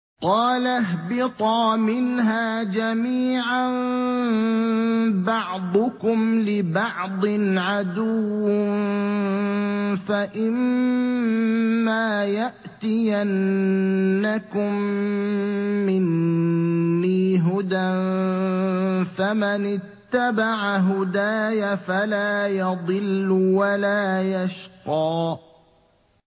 قَالَ اهْبِطَا مِنْهَا جَمِيعًا ۖ بَعْضُكُمْ لِبَعْضٍ عَدُوٌّ ۖ فَإِمَّا يَأْتِيَنَّكُم مِّنِّي هُدًى فَمَنِ اتَّبَعَ هُدَايَ فَلَا يَضِلُّ وَلَا يَشْقَىٰ